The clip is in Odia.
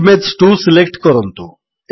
ଇମେଜ୍ 2 ସିଲେକ୍ଟ କରନ୍ତୁ